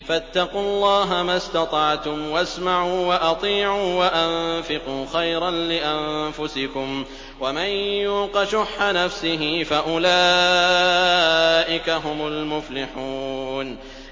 فَاتَّقُوا اللَّهَ مَا اسْتَطَعْتُمْ وَاسْمَعُوا وَأَطِيعُوا وَأَنفِقُوا خَيْرًا لِّأَنفُسِكُمْ ۗ وَمَن يُوقَ شُحَّ نَفْسِهِ فَأُولَٰئِكَ هُمُ الْمُفْلِحُونَ